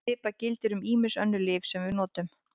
Svipað gildir um ýmis önnur lyf sem við notum.